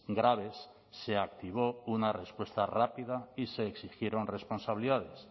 graves se activó una respuesta rápida y se exigieron responsabilidades